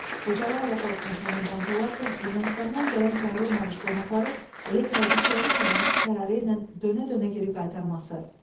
Xocalı aeroportunun komandantı olarkən Ermənistandan gələn çağırılmamış qonaqları elə kəldikləri kimi təyyarə ilə dönə-dönə geri qaytarması.